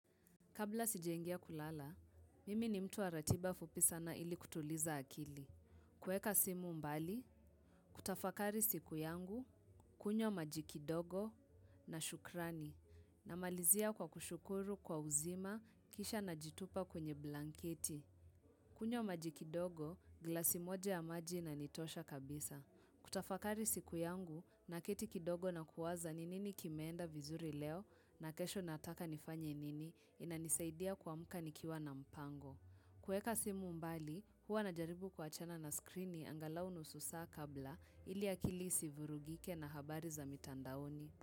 Kabla sijaingia kulala, mimi ni mtu wa ratiba fupi sana ili kutuliza akili. Kuweka simu mbali, kutafakari siku yangu, kunywa maji kidogo na shukrani. Namalizia kwa kushukuru kwa uzima, kisha najitupa kwenye blanketi. Kunywa maji kidogo, glasi moja ya maji inanitosha kabisa. Kutafakari siku yangu naketi kidogo na kuwaza ni nini kimeenda vizuri leo, na kesho nataka nifanye nini inanisaidia kuamka nikiwa na mpango. Kuweka simu mbali, huwa najaribu kuwachana na skrini angalau nusu saa kabla ili akili isivurugike na habari za mitandaoni.